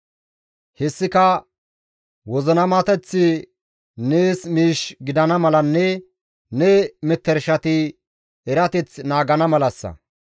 Hessika wozinamateththi nees miish gidana malanne ne metershati erateth naagana malassa.